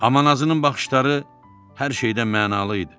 Amma nazının baxışları hər şeydən mənalı idi.